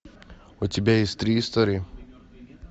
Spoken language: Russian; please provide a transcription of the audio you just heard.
у тебя есть три истории